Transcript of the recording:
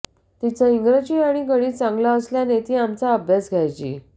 तिचं इंग्रजी आणि गणित चांगलं असल्याने ती आमचा अभ्यास घ्यायची